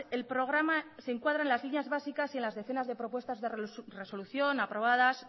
el programa se encuadra en las líneas básicas y en las decenas de propuestas de resolución aprobadas